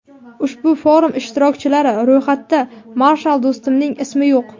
ushbu forum ishtirokchilari ro‘yxatida Marshal Do‘stumning ismi yo‘q.